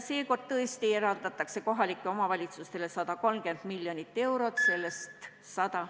Seekord eraldatakse kohalikele omavalitsustele 130 miljonit eurot, sellest ...